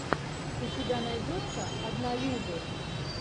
у тебя найдется однолюбы